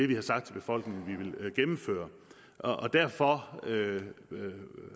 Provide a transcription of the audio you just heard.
vi har sagt til befolkningen vi vil gennemføre derfor